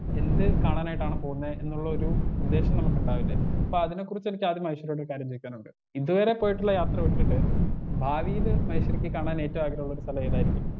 Speaker 1 എന്ത് കാണാനായിട്ടാണ് പോകുന്നേ എന്നുള്ളൊരു ഉദ്ദേശം നമുക്ക്ണ്ടാവില്ലെ അപ്പൊ അതിനെക്കുറിച്ച് എനിക്ക് ആദ്യം മഹേശ്വരിയോട് ഒരു കാര്യം ചോയ്ക്കാനുണ്ട് ഇതുവരെ പോയിട്ടുള്ള യാത്ര വിട്ടിട്ട് ഭാവിയില് മഹേശ്വരിക്ക് കാണാൻ ഏറ്റവും ആഗ്രഹള്ളൊരു സ്ഥലേതായിരിക്കും.